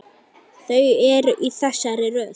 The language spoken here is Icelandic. Þau eru í þessari röð